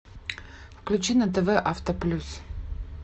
включи на тв авто плюс